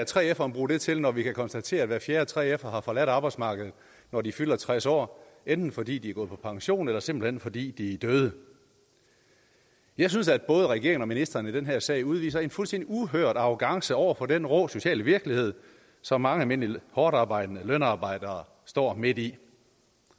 3feren bruge det til når vi kan konstatere at hver fjerde 3fer har forladt arbejdsmarkedet når de fylder tres år enten fordi de er gået på pension eller simpelt hen fordi de er døde jeg synes at både regeringen og ministeren i den her sag udviser en fuldstændig uhørt arrogance over for den rå sociale virkelighed som mange almindelige hårdtarbejdende lønarbejdere står midt i